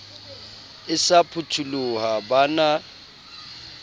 e sa phutoloha ba na